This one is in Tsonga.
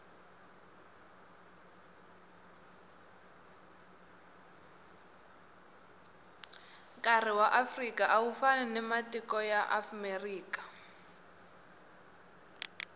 nkari waafrika awufani nawamatiko yaamerika